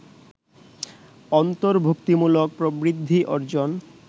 অন্তর্ভুক্তিমূলক প্রবৃদ্ধি অর্জন